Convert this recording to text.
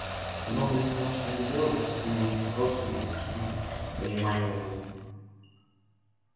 многое из того что они делали было просто недоступно пониманию животных